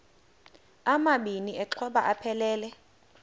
amabini exhobe aphelela